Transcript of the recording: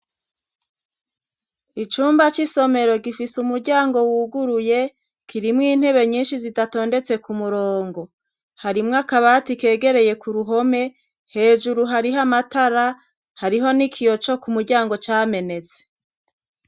Icumba c'isomero gifise umuryango wuguruye kirimwo intebe nyinshi zidatondetse ku murongo. Harimwo akabati kegereye ku ruhome. Hejuru hariho amatara, hariho n'ikiyo co k'umuryango camenetse.